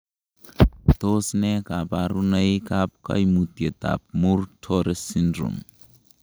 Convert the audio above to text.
Tos nee koburonoikab koimutietab Muir Torre syndrome?